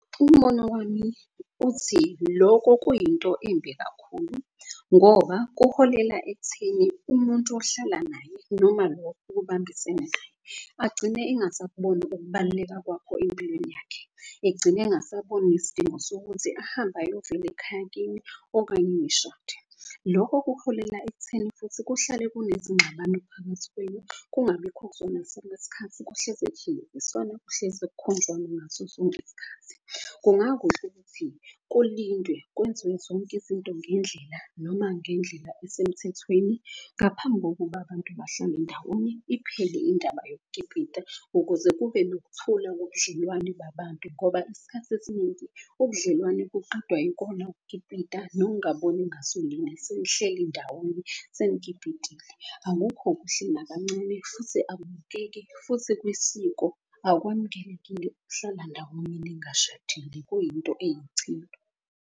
Umbono wami uthi loko kuyinto embi kakhulu ngoba kuholela ekutheni umuntu ohlala naye. Noma lo obambisene naye agcine engasakuboni ukubaluleka kwakho empilweni yakhe. Egcine engasaboni isidingo sokuthi ahambe ayovela ekhaya kini okanye nishade. Lokho kuholela ekutheni futhi kuhlale kunezingxabano phakathi kwenye kungabikho skhathi. Kuhlezi kuhiliziswana kukhonjwana ngaso sonke iskhathi. Kungakuhle ukuthi kulindwe kwenziwe zonke izinto ngendlela noma ngendlela esemthethweni. Ngaphambi kokuba abantu bahlale ndawonye iphele indaba yokukipita ukuze kube nokuthula ngobudlelwane babantu. Ngoba isikhathi esiningi ubudlelwane kuqedwa ikona ukukipita nokungaboni ngasolinye. Senihleli ndawonye senikipitile, akukho kuhle nakancane futhi akubukeki. Futhi kwisiko akwamukelekile ukuhlala ndawonye ningashadile kuyinto eyichilo.